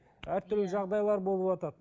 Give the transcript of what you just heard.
әртүрлі жағдайлар болыватады